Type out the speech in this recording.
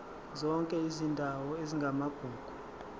zonke izindawo ezingamagugu